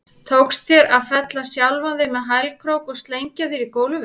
Tókst þér að fella sjálfan þig með hælkrók og slengja þér í gólfið?